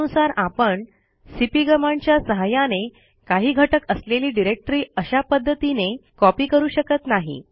त्यानुसार आपण सीपी कमांडच्या सहाय्याने काही घटक असलेली डिरेक्टरी अशा पध्दतीने कॉपी करू शकत नाही